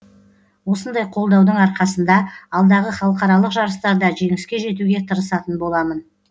осындай қолдаудың арқасында алдағы халықаралық жарыстарда жеңіске жетуге тырысатын боламын